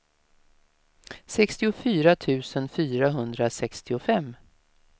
sextiofyra tusen fyrahundrasextiofem